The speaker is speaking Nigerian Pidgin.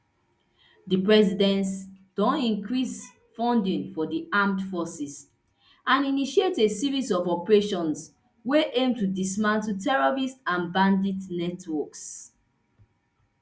di president don increase funding for di armed forces and initiate a series of operations wey aim to dismantle terrorist and bandit networks